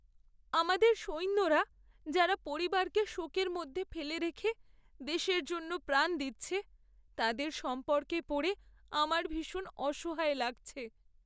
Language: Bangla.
আমাদের সৈন্যরা যারা পরিবারকে শোকের মধ্যে ফেলে রেখে দেশের জন্য প্রাণ দিচ্ছে তাদের সম্পর্কে পড়ে আমার ভীষণ অসহায় লাগছে।